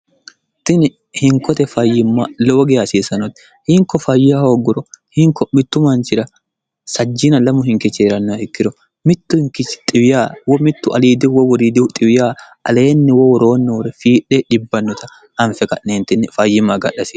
tini hinkote fayyimma lowoge hasiisanotti hinko fayya hooggoro hinko mittu manchira sajjina lamu hinkicheeranna ikkiro mittu hinkichi xiwiya wo mittu aliidi wo woriidihu xiwiyaa aleenni wo woroo noore fiidhe dhibbannota anfe qa'neentinni fayyimma gadhasi